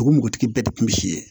O npogotigi bɛɛ de kun bi si ye